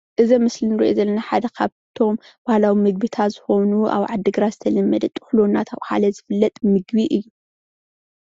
እዚ ኣብ ምስሊ እንሪኦ ዘለና ካብቶም ባህላዊ ምግቢታት ዝኮኑ ኣብ ዓዲ ግራት ዝተለመደ ጥሕሎ እንዳተባሃለ ዝፍለጡ ምግቢ እዩ፡፡